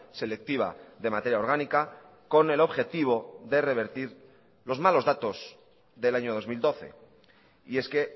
selectiva de materia orgánica con el objetivo de revertir los malos datos del año dos mil doce y es que